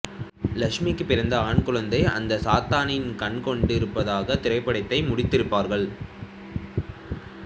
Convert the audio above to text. லட்சுமிக்குப் பிறந்த ஆண் குழந்தை அந்த சாத்தானின் கண் கொண்டு இருப்பதாக திரைப்படத்தை முடித்திருப்பார்கள்